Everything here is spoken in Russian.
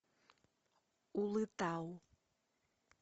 улытау